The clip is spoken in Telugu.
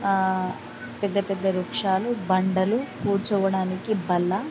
ఆ పెద్ద పెద్ద రిక్షాలు బండలు కూర్చోవడానికి బల్ల--